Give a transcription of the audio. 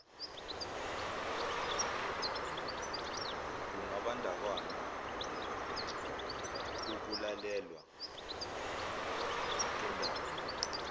kungambandakanya ukulalelwa kondaba